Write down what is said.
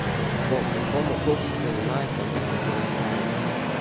по какому курсу принимают валюту в ярославле